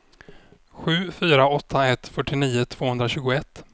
sju fyra åtta ett fyrtionio tvåhundratjugoett